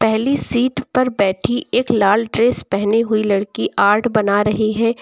पहले सीट पर बैठी एक लाल ड्रेस पहनी हुई लड़की आर्ट बना रही है।